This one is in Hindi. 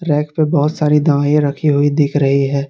रैक पे बहुत सारी दवाईयाँ रखी हुई दिख रही है।